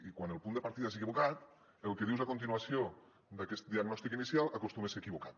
i quan el punt de partida és equivocat el que dius a continuació d’aquest diagnòstic inicial acostuma a ser equivocat